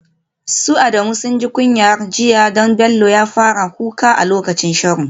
Su Adamu sun ji kunyar jiya domin Bello ya fara kuka a lokacin sharo.